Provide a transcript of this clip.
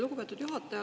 Lugupeetud juhataja!